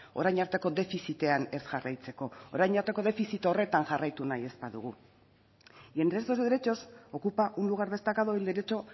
orain arteko defizitean ez jarraitzeko orain arteko defizit horretan jarraitu nahi ez badugu y entre estos derechos ocupa un lugar destacado el derecho